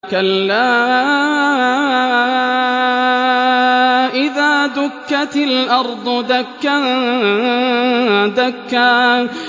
كَلَّا إِذَا دُكَّتِ الْأَرْضُ دَكًّا دَكًّا